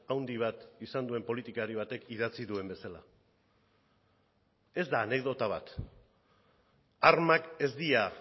handi bat izan duen politikari batek idatzi duen bezala ez da anekdota bat armak ez dira